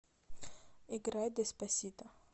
играй деспасито